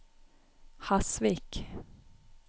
Hasvik